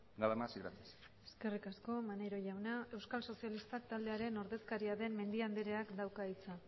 nada más y gracias eskerrik asko maneiro jauna euskal sozialistak taldearen ordezkaria den mendia andreak dauka hitza